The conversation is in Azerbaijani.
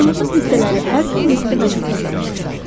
vücudumuzun hissələri hər gün nöqtəbənöqtə dəyişir.